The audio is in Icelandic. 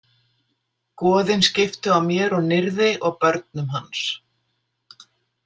Goðin skiptu á mér og Nirði og börnum hans.